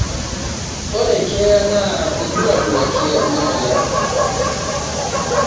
Ore keeya na irbulabul ake lemweyian